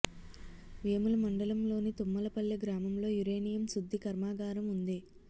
వేముల మండలంలోని తుమ్మలపల్లె గ్రామంలో యురేనియం శుద్ధి కర్మాగారం ఉంది